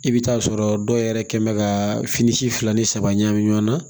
I bɛ taa sɔrɔ dɔw yɛrɛ kɛ bɛ ka fini si fila ni saba ɲagami ɲɔgɔn na